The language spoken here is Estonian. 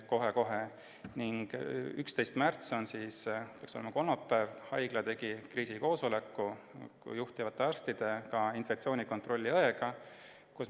11. märtsil, see peaks olema kolmapäev, tegi haigla kriisikoosoleku juhtivate arstide ja infektsioonikontrolli õega.